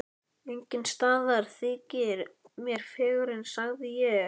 Enginn staður þykir mér fegurri sagði ég.